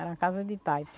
Era casa de